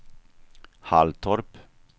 Halltorp